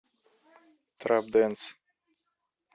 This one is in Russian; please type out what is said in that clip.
трэп дэнс